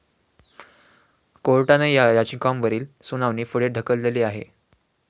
कोर्टानं या याचिकांवरील सुनावणी पुढे ढकलली आहे.